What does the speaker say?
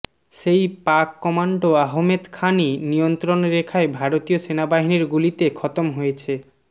সেই পাক কমান্ডো আহমেদ খানই নিয়ন্ত্রণরেখায় ভারতীয় সেনাবাহিনীর গুলিতে খতম হয়েছে